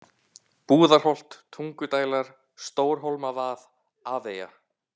Búðarholt, Tungudælar, Stórhólmavað, Afeyja